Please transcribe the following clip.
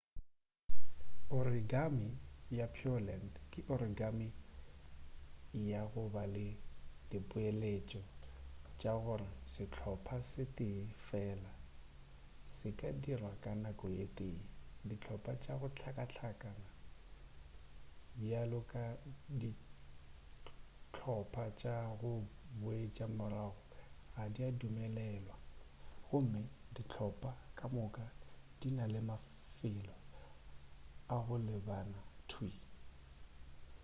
origami ya pureland ke origami ya go ba le dipeeletšo tša gore sehlopa se tee fela se ka dirwa ka nako ye tee dihlopa tša go hlakahlakana bjalo ka dihlopa tša go boetša morago ga di adumelelwa gomme dihlopa ka moka di na le mafelo a go lebana thwii